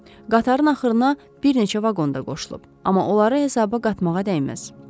Qatarın axırına bir neçə vaqon da qoşulub, amma onları hesaba qatmağa dəyməz.